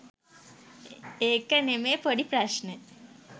ඒක නෙමේ පොඩී ප්‍රශ්නය